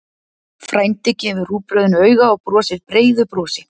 Frændi gefur rúgbrauðinu auga og brosir breiðu brosi.